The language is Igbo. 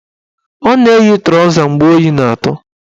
Ọ na-eyi trọza mgbe oyi na-atụ